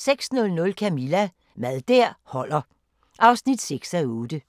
06:00: Camilla – Mad der holder (6:8)